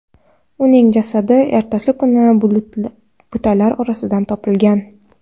Uning jasadi ertasi kuni butalar orasidan topilgan.